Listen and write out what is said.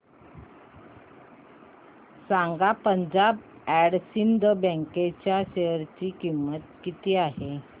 सांगा Punjab and Sind bank च्या share ची किंमत किती आहे